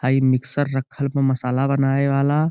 हई मिक्सर रखल बा मसाला बनावे वाला।